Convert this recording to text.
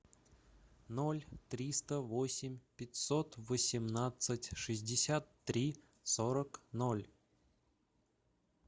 ноль триста восемь пятьсот восемнадцать шестьдесят три сорок ноль